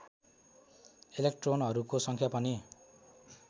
एलेक्ट्रोनहरूको सङ्ख्या पनि